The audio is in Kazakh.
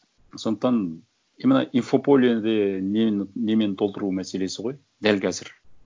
сондықтан именно инфополеде нені немен толтыру мәселесі ғой дәл қазір